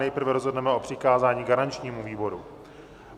Nejprve rozhodneme o přikázání garančnímu výboru.